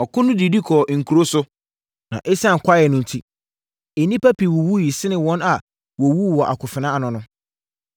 Ɔko no didi kɔɔ nkuro so, na ɛsiane kwaeɛ no enti, nnipa pii wuwuiɛ sene wɔn a wɔwuu wɔ akofena ano no.